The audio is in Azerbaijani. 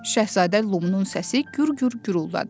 Şahzadə Lumunun səsi gür-gür guruldadı: